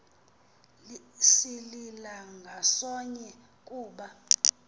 silila ngasonye kuba